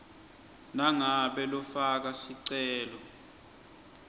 nangabe lofaka sicelo